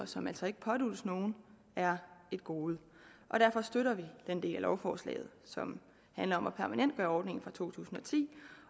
som altså ikke påduttes nogen er et gode og derfor støtter vi den del af lovforslaget som handler om at permanentgøre ordningen fra to tusind